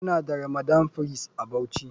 Muna da ramadan fress a bauchi.